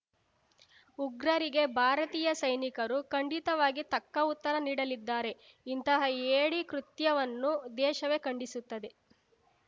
ಉಗ್ರರಿಗೆ ಭಾರತೀಯ ಸೈನಿಕರು ಖಂಡಿತವಾಗಿ ತಕ್ಕ ಉತ್ತರ ನೀಡಲಿದ್ದಾರೆ ಇಂತಹ ಹೇಡಿ ಕೃತ್ಯವನ್ನು ದೇಶವೇ ಖಂಡಿಸುತ್ತದೆ